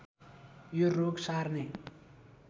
यो रोग सार्ने